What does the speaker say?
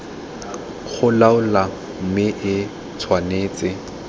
go laola mme e tshwanetse